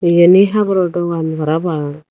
yen hi haboro dogan parapang.